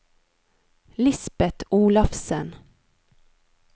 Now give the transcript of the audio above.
Lisbeth Olafsen